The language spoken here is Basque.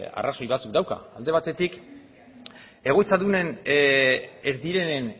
arrazoi batzuek dauzka alde batetik egoitzadunen ez direnen